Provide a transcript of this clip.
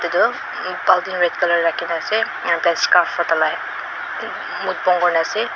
aru baltin red colour rakhi ne ase aru tai scarf ra tai la muk bon kuri ne ase.